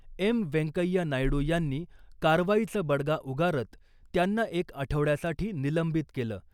M . Venkaiah Naidu यांनी कारवाईचा बडगा उगारत त्यांना एक आठवड्यासाठी निलंबित केलं .